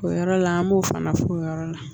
O yɔrɔ la an b'o fana f'o yɔrɔ la